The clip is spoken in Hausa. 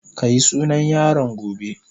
Ka yi sunan yaron gobe.